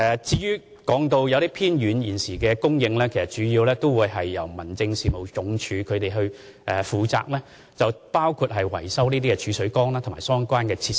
至於現時某些偏遠鄉村的自來水供應，其實主要由民政署負責，包括維修儲水缸及相關設施。